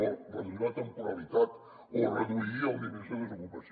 o reduir la temporalitat o reduir els nivells de desocupació